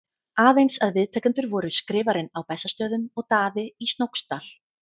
Aðeins að viðtakendur voru Skrifarinn á Bessastöðum og Daði í Snóksdal.